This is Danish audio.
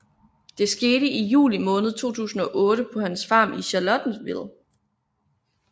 Det skete i Juli måned 2008 på hans farm i Charlottesville